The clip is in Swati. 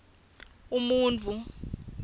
umuntfu